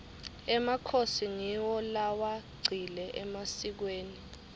emakhosi ngiwo lewagcile emasikweni